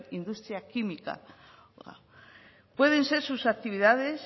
industria química pueden ser sus actividades